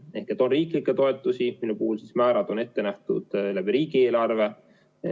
On riiklikke toetusi, mille puhul määrad on riigieelarve kaudu maksmisel ette nähtud.